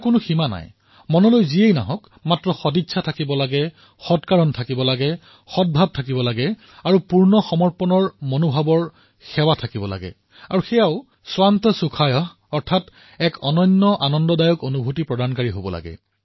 কোনো সীমা নাই যি মনলৈ আহে কেৱল সদিচ্ছা থাকিব লাগে সদ্ভাৱ থাকিব লাগে আৰু পূৰ্ণ সমৰ্পণতাৰ ভাৱৰ সেৱা হওক আৰু সেয়াও স্বান্তঃ সুখায়ঃ এক অনন্য আনন্দৰ অনুভূতিৰ বাবে হওক